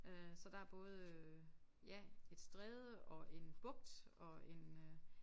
Øh så der er både øh ja et stræde og en bugt og en øh